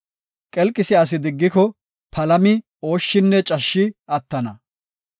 Qelqisiya asi diggiko, palami, ooshshinne cashshi attana.